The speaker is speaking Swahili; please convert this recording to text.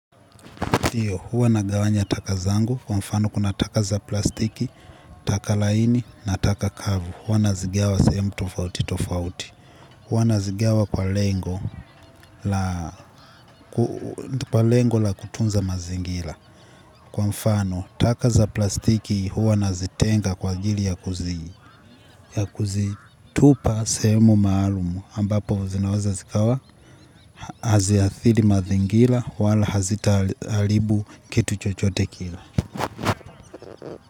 Ndio, hua nagawanya taka zangu, kwa mfano kuna taka za plastiki, taka laini, na taka kavu. Huwa nazigawa sehemu tofauti tofauti. Huwa nazigiawa kwa lengo, kwa lengo la kutunza mazingira. Kwa mfano, taka za plastiki huwa nazitenga kwa ajili ya kuzitupa sehemu maalumu. Ambapo zinaweza zikawa, haziathiri mazingira, wala hazita haribu kitu chochote kile.